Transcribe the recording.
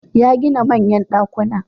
Ya gina manyan ɗakuna.